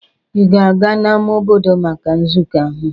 Ị ga-agaa n'ámá obodo maka nzukọ ahụ?